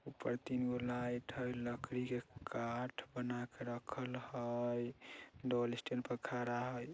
ऊपर तीन गो लाइट है लकड़ी के काठ बनाकर रखल हय डबल स्टैंड पर खड़ा है।